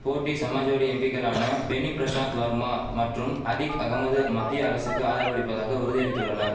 போட்டி சமாஜ்வாடி எம்பிக்களான பெனி பிரசாத் வர்மா மற்றும் அதிக் அகமது மத்திய அரசுக்கு ஆதரவளிப்பதாக உறுதியளிதுள்ளனர்